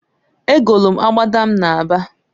Egolu m abada m na aba.